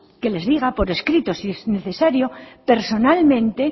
que les diga por escrito si es necesario personalmente